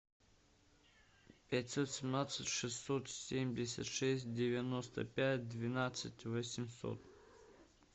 пятьсот семнадцать шестьсот семьдесят шесть девяносто пять двенадцать восемьсот